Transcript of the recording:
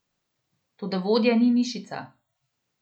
Toda vodja ni mišica.